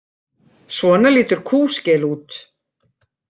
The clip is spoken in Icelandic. Svona lítur kúskel út.